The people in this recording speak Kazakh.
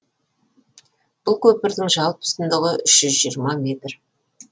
бұл көпірдің жалпы ұзындығы үш жүз жиырма метр